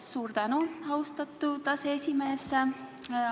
Suur tänu, austatud aseesimees!